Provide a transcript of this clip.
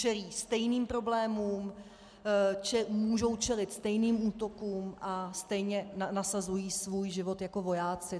Čelí stejným problémům, můžou čelit stejným útokům a stejně nasazují svůj život jako vojáci.